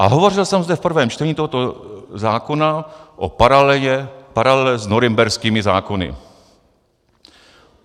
"A hovořil jsem zde v prvém čtení tohoto zákona o paralele s norimberskými zákony.